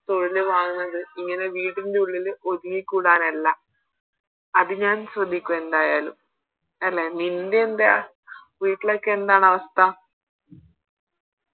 തൊഴില് വാങ്ങുന്നത് ഇങ്ങനെ വീടിൻറെ ഉള്ളില് ഒതുങ്ങി കൂടാനല്ല അത് ഞാൻ ശ്രമിക്കും എന്തായാലും അല്ലെ നിൻറെ എന്താ വീട്ടിലൊക്കെ എന്താണവസ്ഥ